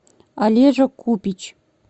олежа купич